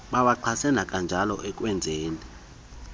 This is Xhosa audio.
bawaxhase kananjalo ekwenzeni